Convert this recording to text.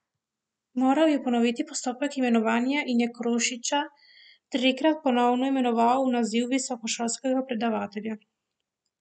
Moral je ponoviti postopek imenovanja in je Krušiča tistikrat ponovno imenoval v naziv visokošolskega predavatelja.